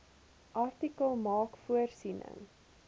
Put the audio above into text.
artikel maak voorsiening